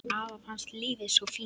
Afa fannst lífið svo fínt.